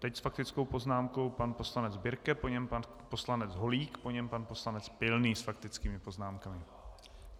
Teď s faktickou poznámkou pan poslanec Birke, po něm pan poslanec Holík, po něm pan poslanec Pilný s faktickými poznámkami.